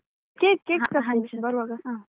cake cake ತರ್ತೇನೆ ಬರುವಾಗ.